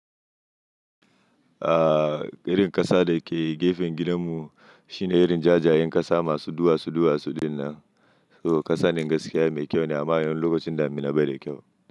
Aaa, irin ƙasa da ke gefen gidanmu shine irin jajayen ƙasa masu duwatsu duwatsu dinnan. To ƙasa in gaskiya mai kyau ne amma lokacin damina bai da kyau.